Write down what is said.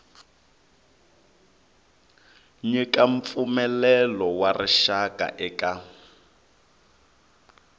nyika mpfumelelo wa rixaka eka